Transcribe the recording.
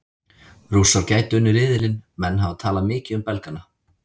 Rússar gætu unnið riðilinn Menn hafa talað mikið um Belgana.